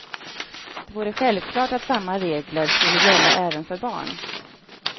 Det vore självklart att samma regler skulle gälla även för barn.